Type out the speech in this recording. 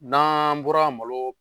N'an bɔra malo